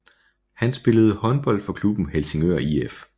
Han spillede håndbold for klubben Helsingør IF